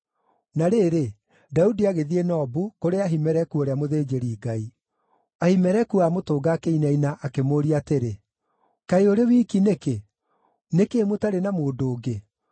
Na rĩrĩ, Daudi agĩthiĩ Nobu, kũrĩ Ahimeleku ũrĩa mũthĩnjĩri-Ngai. Ahimeleku aamũtũnga akĩinaina, akĩmũũria atĩrĩ, “Kaĩ ũrĩ wiki nĩkĩ? Nĩ kĩĩ mũtarĩ na mũndũ ũngĩ?”